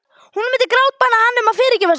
Hún myndi grátbæna hann um að fyrirgefa sér.